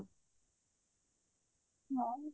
ହଁ